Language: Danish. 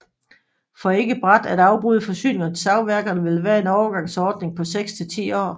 For ikke brat at afbryde forsyningerne til savværkerne vil der være en overgangsordning på seks til ti år